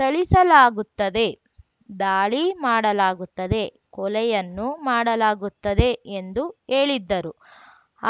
ಥಳಿಸಲಾಗುತ್ತದೆ ದಾಳಿ ಮಾಡಲಾಗುತ್ತದೆ ಕೊಲೆಯನ್ನೂ ಮಾಡಲಾಗುತ್ತದೆ ಎಂದು ಹೇಳಿದ್ದರು